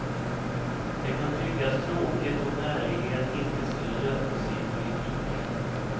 Det kan tyckas tråkigt om ärlighet inte skulle löna sig i politiken.